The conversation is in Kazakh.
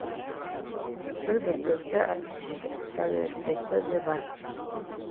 бір бөтелке сәлеркесі де бар